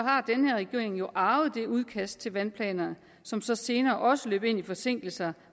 har den her regering jo arvet det udkast til vandplaner som så senere også løb ind i forsinkelser